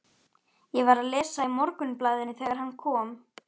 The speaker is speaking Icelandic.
Ég var að lesa í Morgunblaðinu þegar hann kom.